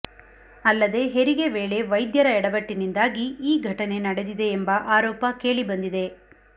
ಅಲ್ಲದೆ ಹೆರಿಗೆ ವೇಳೆ ವೈದ್ಯರ ಯಡವಟ್ಟಿನಿಂದಾಗಿ ಈ ಘಟನೆ ನಡೆದಿದೆ ಎಂಬ ಆರೋಪ ಕೇಳಿ ಬಂದಿದೆ